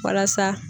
Walasa